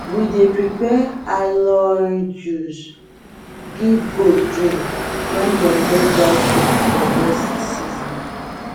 we dey prepare aloe juice give goat drink when dem get dry cough for dust season